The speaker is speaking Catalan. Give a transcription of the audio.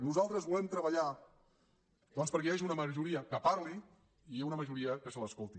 nosaltres volem treballar doncs perquè hi hagi una majoria que parli i una majoria que se l’escolti